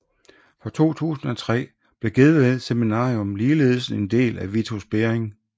Fra 2003 blev Gedved Seminarium ligeledes en del af Vitus Bering